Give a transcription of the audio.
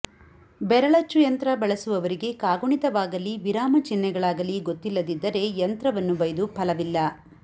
ಬೆರಳಚ್ಚುಯಂತ್ರ ಬಳಸುವವರಿಗೆ ಕಾಗುಣಿತವಾಗಲಿ ವಿರಾಮ ಚಿಹ್ನೆಗಳಾಗಲಿ ಗೊತ್ತಿಲ್ಲದಿದ್ದರೆ ಯಂತ್ರವನ್ನು ಬೈದು ಫಲವಿಲ್ಲ